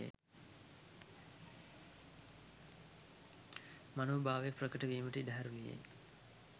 මනෝභාව ප්‍රකට වීමට ඉඩ හරිනුයේ